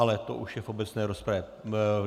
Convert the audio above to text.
Ale to už je v obecné rozpravě.